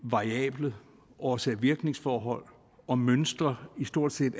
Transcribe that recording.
variable årsag virkning forhold og mønstre i stort set